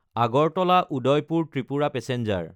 Agartala-Udaipur Tripura passenger